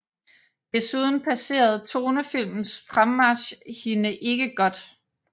Desuden passede tonefilmens fremmarch hende ikke godt